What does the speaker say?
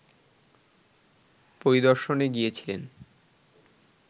পরিদর্শনে গিয়েছিলেন